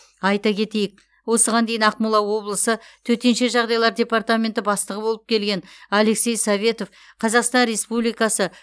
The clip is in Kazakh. айта кетейік осыған дейін ақмола облысы төтенше жағдайлар департаменті бастығы болып келген алексей советов қазақстан республикасы